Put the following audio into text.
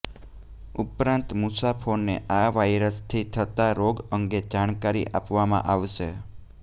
ઉપરાંત મુસાફોને આ વાયરસથી થતાં રોગ અંગે જાણકારી આપવામાં આવશે